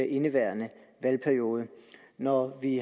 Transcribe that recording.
indeværende valgperiode når vi